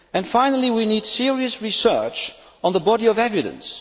Finally, we need serious research on the body of evidence.